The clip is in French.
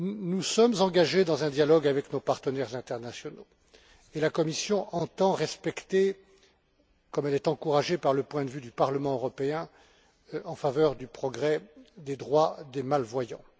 Nous sommes engagés dans un dialogue avec nos partenaires internationaux et la Commission entend œuvrer, comme elle est yencouragée par le point de vue du Parlement européen, en faveur du progrès des droits des malvoyants.